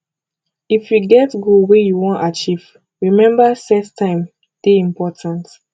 if you get goal wey you wan achieve remember set time dey important